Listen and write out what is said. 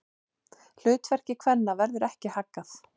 Hlutverki kvenna verður ekki haggað.